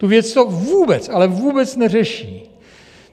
Tu věc to vůbec, ale vůbec neřeší!